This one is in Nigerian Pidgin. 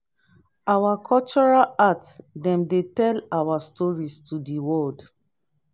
our cultural art dem dey tell our stories to di world.